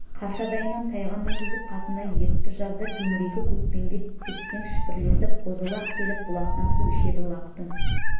қаршадайынан тайға мінгізіп қасына ертті жазда төңірегі көкпеңбек тепсең шүпірлесіп қозы-лақ келіп бұлақтан су ішеді лақтың